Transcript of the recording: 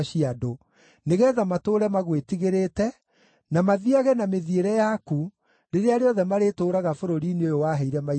nĩgeetha matũũre magwĩtigĩrĩte, na mathiiage na mĩthiĩre yaku rĩrĩa rĩothe marĩtũũraga bũrũri-inĩ ũyũ waheire maithe maitũ.